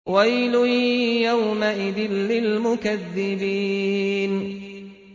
وَيْلٌ يَوْمَئِذٍ لِّلْمُكَذِّبِينَ